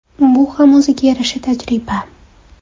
Bu ham o‘ziga yarasha tajriba.